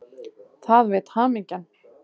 Það veit hamingjan.